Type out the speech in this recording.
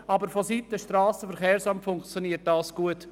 Aber vonseiten des SVSA funktioniert es gut.